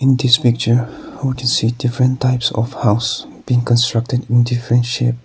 in this picture we can see different types of house being constructed in different shape.